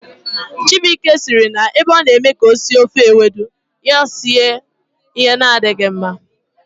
Chibuike siri ebe ọ na eme ka o sie ofe ewedu, ya esie ihe na-adịghi mma